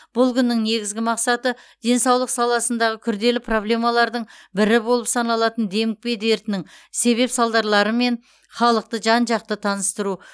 бұл күннің негізгі мақсаты денсаулық саласындағы күрделі проблемалардың бірі болып саналатын демікпе дертінің себеп салдарларымен халықты жан жақты таныстыру